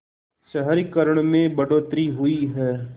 शहरीकरण में बढ़ोतरी हुई है